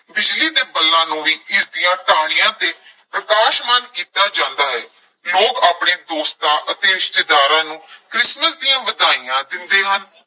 ਬਿਜਲੀ ਦੇ ਬੱਲਾਂ ਨੂੰ ਵੀ ਇਸਦੀਆਂ ਟਾਹਣੀਆਂ ਤੇ ਪ੍ਰਕਾਸ਼ਮਾਨ ਕੀਤਾ ਜਾਂਦਾ ਹੈ, ਲੋਕ ਆਪਣੇ ਦੋਸਤਾਂ ਅਤੇ ਰਿਸ਼ਤੇਦਾਰਾਂ ਨੂੰ ਕ੍ਰਿਸਮਸ ਦੀਆਂ ਵਧਾਈਆਂ ਦਿੰਦੇ ਹਨ।